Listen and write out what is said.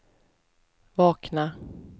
vakna